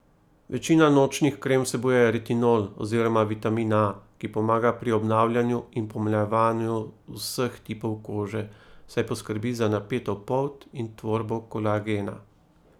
Večina nočnih krem vsebuje retinol oziroma vitamin A, ki pomaga pri obnavljanju in pomlajevanju vseh tipov kože, saj poskrbi za napeto polt in tvorbo kolagena.